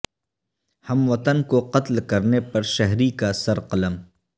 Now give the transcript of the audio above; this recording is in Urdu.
ہم وطن کو قتل کرنے پر شہری کا سر قلم